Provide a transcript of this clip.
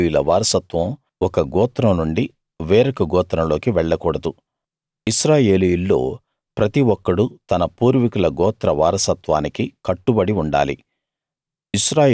ఇశ్రాయేలీయుల వారసత్వం ఒక గోత్రం నుండి వేరొక గోత్రంలోకి వెళ్ళకూడదు ఇశ్రాయేలీయుల్లో ప్రతి ఒక్కడూ తన పూర్వీకుల గోత్ర వారసత్వానికి కట్టుబడి ఉండాలి